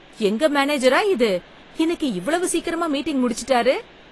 எங்க மேனேஜரா இது இன்னைக்கு இவ்வளவு சீக்கிரமா மீட்டிங் முடிச்சிட்டாரு!